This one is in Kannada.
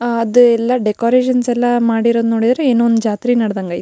ಆ ಅದು ಎಲ್ಲ ಡೆಕೋರೇಷನ್ಸ್ ಎಲ್ಲ ಮಾಡಿರೋಡ್ ನೋಡಿದ್ರೆ ಏನೋ ಒಂದು ಜಾತ್ರಿ ನಡದಂಗ ಅಯ್--